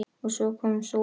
OG SVO KOM SÓLIN UPP.